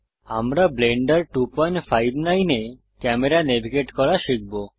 আমরা ব্লেন্ডার 259 এ camera navigate করা শিখব